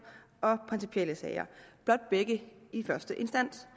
og principielle sager blot begge i første instans